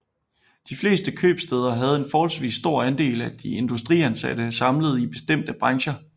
De fleste købstæder havde en forholdsvis stor andel af de industriansatte samlede i bestemte brancher